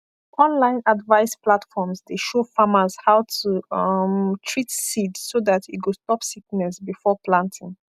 online advice platforms dey show farmers how to um treat seed so that e go stop sickness before planting